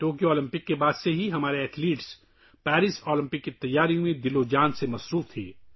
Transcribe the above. Tokyo Olympics کے بعد سے ہمارے کھلاڑی پیرس اولمپکس کی تیاریوں میں مصروف تھے